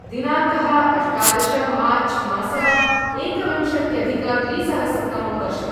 दिनाङ्कः अष्टादश मार्च् मासः एकविंशत्यधिकद्विसहस्रतमं वर्षम्